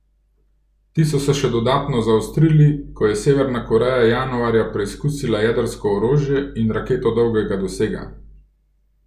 Ti so se še dodatno zaostrili, ko je Severna Koreja januarja preizkusila jedrsko orožje in raketo dolgega dosega.